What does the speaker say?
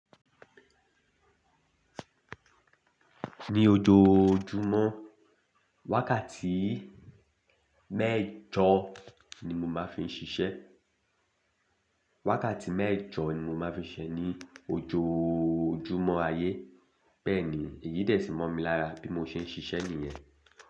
Ní ojoojúmọ́, wákàtí mẹ́jọ ni mo máa fi ń ṣiṣẹ́. Wákàtí mẹ́jọ ni mo máa fi ń ṣiṣẹ́ ní ojoojúmọ́ ayé. Bẹ́ẹ̀ni, èyí dẹ̀ ṣì mọ̀ mi lára bí mo ṣe ń ṣiṣẹ́ nìyẹn.